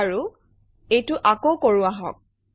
বাৰু এইটো আকৌ কৰোঁ আহক